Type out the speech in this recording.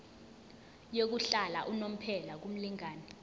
yokuhlala unomphela kumlingani